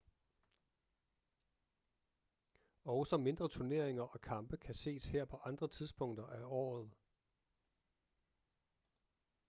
også mindre turneringer og kampe kan ses her på andre tidspunkter af året